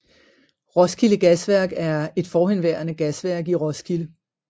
Roskilde Gasværk er et forhenværende gasværk i Roskilde